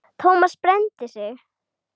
Thomas brenndi sig.